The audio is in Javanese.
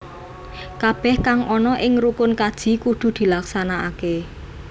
Kabeh kang ana ing rukun kaji kudu dilaksanakake